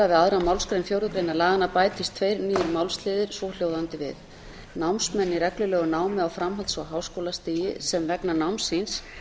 við aðra málsgrein fjórðu greinar laganna bætist tveir nýir málsliðir svohljóðandi við námsmenn í reglulegu námi á framhalds og háskólastigi sem vegna náms síns